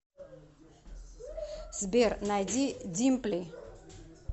сбер найди димпли